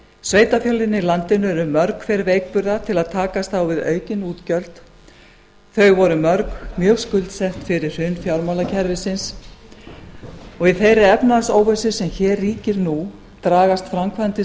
sveitarfélögin í landinu eru mörg hver veikburða til að takast á við aukin útgjöld þau voru mörg mjög skuldsett fyrir hrun fjármálakerfisins og í þeirri efnahagsóvissu sem hér ríkir nú dragast framkvæmdir